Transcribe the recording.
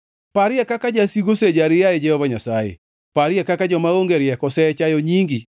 Parie kaka jasigu osejari, yaye Jehova Nyasaye. Parie kaka joma onge rieko osechayo nyingi.